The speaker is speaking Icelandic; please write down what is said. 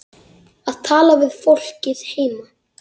Að tala við fólkið heima.